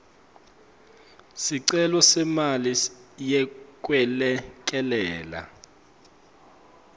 sicelo semali yekwelekelela